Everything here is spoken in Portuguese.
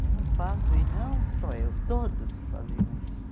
É um fato, e não só eu, todos faziam isso.